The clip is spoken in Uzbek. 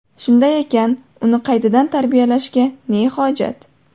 Shunday ekan, uni qaytadan tarbiyalashga ne hojat?